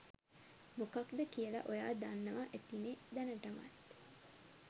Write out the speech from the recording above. මොකක්ද කියල ඔයා දන්නව ඇතිනෙ දැනටමත්.